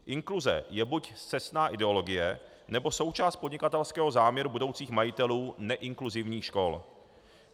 Inkluze je buď scestná ideologie, nebo součást podnikatelského záměru budoucích majitelů neinkluzivních škol.